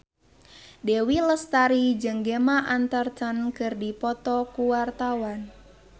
Dewi Lestari jeung Gemma Arterton keur dipoto ku wartawan